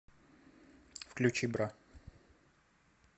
включи бра